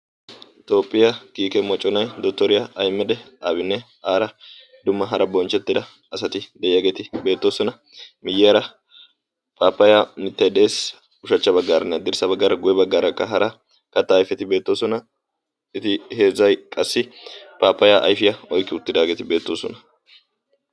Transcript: tophphiya kiike moconaa dottoriya ahmeda abinne dumma hara bonchcheettida asati de'iyageeti beettoosona. miyyiyara paappayaa mittay de'es. ushachcha baggaara haddirssa baggaara guyye baggaarakka hara kattaa ayifeti beettoosona. eti heezzay paappayaa oyikki uttidageeti beettoosona.